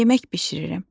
Yemək bişirirəm.